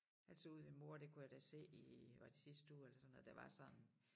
Altså ude ved mor der kunne jeg da se i var det sidste uge eller sådan noget der var sådan